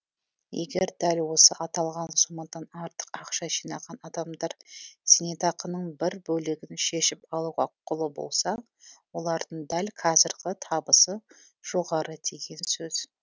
егер дәл осы аталған сомадан артық ақша жинаған адамдар зейнетақының бір бөлігін шешіп алуға құқылы болса олардың дәл қазіргі табысы жоғары деген сөз